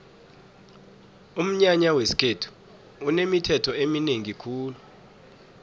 umnyanya wesikhethu unemithetho eminengi khulu